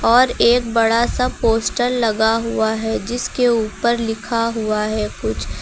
और एक बड़ा सा पोस्टर लगा हुआ है जिसके ऊपर लिखा हुआ है कुछ।